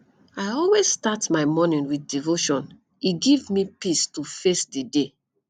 i always start my morning with devotion e give me peace to face di day